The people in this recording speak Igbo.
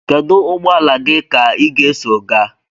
Kedu ụgbọ ala gị ka ị ga-eso gaa?